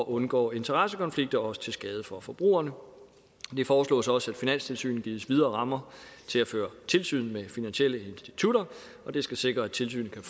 undgås interessekonflikter også til skade for forbrugerne det foreslås også at finanstilsynet gives videre rammer til at føre tilsyn med finansielle institutter og det skal sikre at tilsynet kan